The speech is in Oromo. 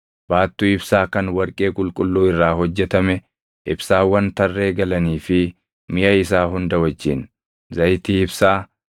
baattuu ibsaa kan warqee qulqulluu irraa hojjetame, ibsaawwan tarree galanii fi miʼa isaa hunda wajjin, zayitii ibsaa;